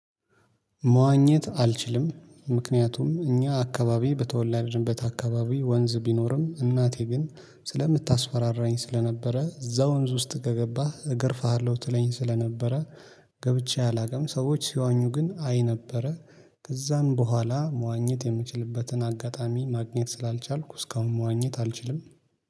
መዋኘት አልችልም ምክንያቱም እኛ አካባቢ በተወለድበት አካባቢ ወንዝ ቢኖርም እናቴ ግን ስለምታስፈራራኝ ስለነበረ እዛ ወንዝ ውስጥ ገገባህ እገርፍሃለሁ ትለኝ ስለነበረ ገብቼ አላውቅም። ሰዎች ሲዋኙ ግን አይ ነበረ። ከዛም በኋላ መዋኘት የምችልበትን አጋጣሚ ማግኘት ስላልቻልኩ እስካሁን መዋኘት አልችልም